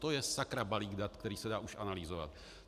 To je sakra balík dat, který se dá už analyzovat!